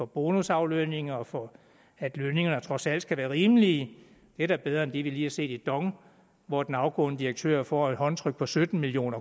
bonusaflønning og for at lønningerne trods alt skal være rimelige det er da bedre end det vi lige har set i dong hvor den afgående direktør får et håndtryk på sytten million